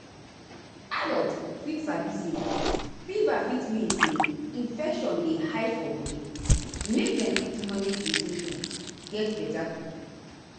adults fit sabi say fever fit mean say infection dey hide for body make dem fit manage di symptoms get beta quick.